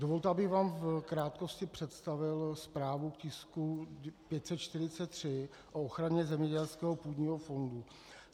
Dovolte, abych vám v krátkosti představil zprávu k tisku 543 o ochraně zemědělského půdního fondu.